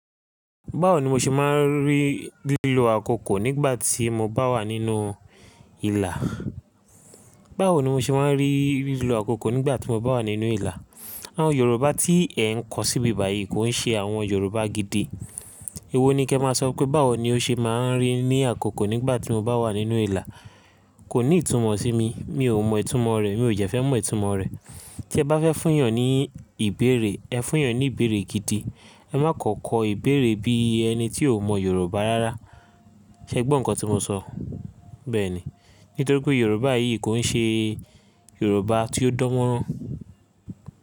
Báwo ni mo ṣe máa ń rí lílo àkókò nígbà tí mo bá wà nínú ìlà? Báwo ni mo ṣe máa ń rí lílo àkókò nígbà tí mo bá wà nínú ìlà? Àwọn Yorùbá tí ẹ ń kọ síbi báyìí kò ń ṣe àwọn Yorùbá gidi. Èwo ni kí ẹ máa sọ pé báwo ni ó ṣe máa ń rí ní àkókò nígbà tí mo bá wà nínú ìlà? Kò ní ìtumọ̀ sí mi, mi ò mọ ìtumọ̀ rẹ̀, mi ò jẹ́ fẹ́ mọ ìtumọ̀ rẹ̀. Tí ẹ bá fẹ́ fún èèyàn ní ìbéèrè, ẹ fún èèyàn ní ìbéèrè gidi. Ẹ má kan kọ ìbéèrè bí ẹni tí ò mọ Yorùbá rárá. Ṣé ẹ gbọ́ nǹkan tí mo sọ? Bẹ́ẹ̀ ni. Nítorí pé Yorùbá yìí kò ń ṣe Yorùbá tí ó dánmórán.